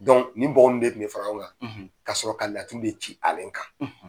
nin bɔgƆ in bɛ fara ale kan ka sɔrɔ ka laturu ci ale kan.